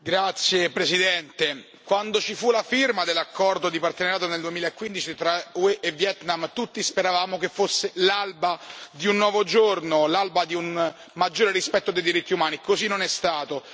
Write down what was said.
Signor Presidente, onorevoli colleghi, quando ci fu la firma dell'accordo di partenariato nel 2015 tra UE e Vietnam tutti speravamo che fosse l'alba di un nuovo giorno, l'alba di un maggiore rispetto dei diritti umani. Così non è stato.